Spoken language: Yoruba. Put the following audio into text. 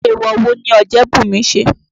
Èèwọ̀ wo ni Ọ̀jẹ́bùnmi ṣe?